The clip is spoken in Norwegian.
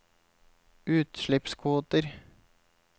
utslippskvoter